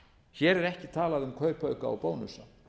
hér er ekki talað um kaupauka og bónusa